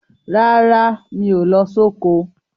Rárá, mi ò lọ soko.